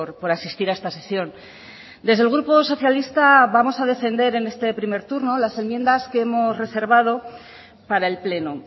por asistir a esta sesión desde el grupo socialista vamos a defender en este primer turno las enmiendas que hemos reservado para el pleno